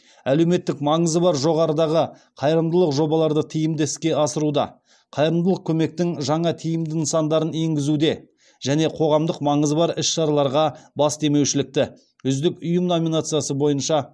әлеуметтік маңызы бар жоғарыдағы қайырымдылық жобаларды тиімді іске асыруда қайырымдылық көмектің жаңа тиімді нысандарын енгізуде және қоғамдық маңызы бар іс шараларға бас демеушілікте үздік ұйым номинациясы бойынша